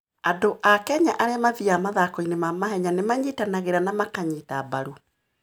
Andũ a Kenya arĩa mathiaga mathako-inĩ ma mahenya nĩ manyitanagĩra na makaanyita mbaru.